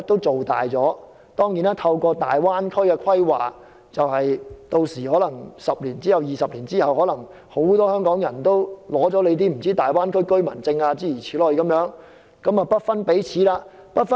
此外，透過大灣區規劃 ，10 年、20年之後，很多香港人可能已取得大灣區居民證，跟國內同胞不分彼此了。